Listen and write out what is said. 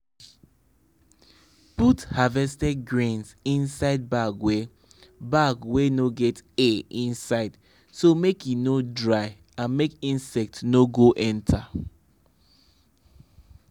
put harvested grains inside bag wey bag wey no get air inside so make e no dry and make insects no go enter.